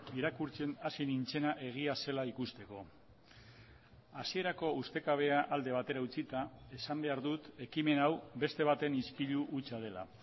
irakurtzen hasi nintzena egia zela ikusteko hasierako ustekabea alde batera utzita esan behar dut ekimen hau beste baten ispilu hutsa dela